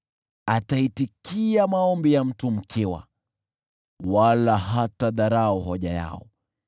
Ataitikia maombi ya mtu mkiwa, wala hatadharau hoja yao.